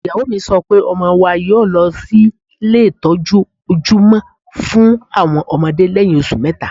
Ìyàwó mi sọ pé ọmọ wa yóọ̀ lọ sí ilé ìtọ́jú ojúmọ́ fún àwọn ọmọdé lẹ́yìn oṣù mẹ́ta